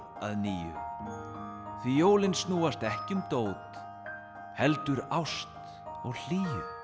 að nýju því jólin snúast ekki um dót heldur ást og hlýju